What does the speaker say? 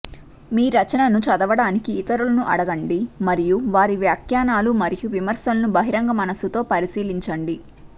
మీ రచనను చదవడానికి ఇతరులను అడగండి మరియు వారి వ్యాఖ్యానాలు మరియు విమర్శలను బహిరంగ మనస్సుతో పరిశీలించండి